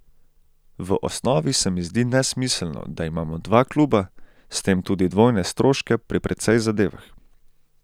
V osnovi se mi zdi nesmiselno, da imamo dva kluba, s tem tudi dvojne stroške pri precej zadevah.